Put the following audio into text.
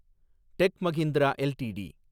tech Mahindra LTD